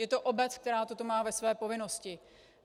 Je to obec, která toto má ve své povinnosti.